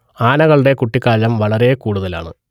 ആനകളുടെ കുട്ടിക്കാലം വളരെ കൂടുതലാണ്